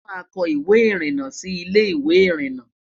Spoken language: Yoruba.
àmá kò ìwé irina Sí Ilé ìwé irinna